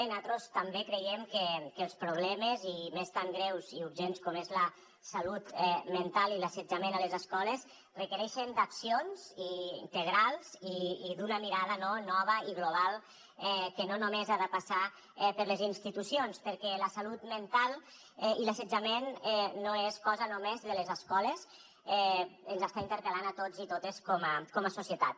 natros també creiem que els problemes i més tan greus i urgents com és la salut mental i l’assetjament a les escoles requereixen accions integrals i una mirada nova i global que no només ha de passar per les institucions perquè la salut mental i l’assetjament no és cosa només de les escoles ens està interpel·lant a tots i totes com a societat